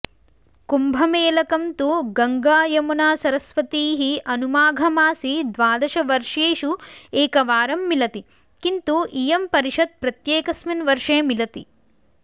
कुम्भमेलकं तु गङ्गायमुनासरस्वतीः अनु माघमासे द्वादशवर्षेषु एकवारं मिलति किन्तु इयं परिषद् प्रत्येकस्मिन् वर्षे मिलति